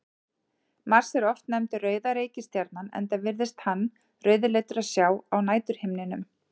Mars er oft nefndur rauða reikistjarnan enda virðist hann rauðleitur að sjá á næturhimninum.